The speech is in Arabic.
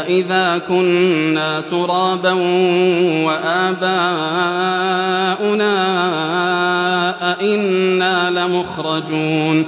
أَإِذَا كُنَّا تُرَابًا وَآبَاؤُنَا أَئِنَّا لَمُخْرَجُونَ